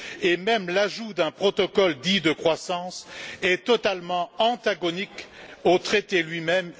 Par ailleurs, l'ajout d'un protocole dit de croissance est totalement antagonique au traité lui même.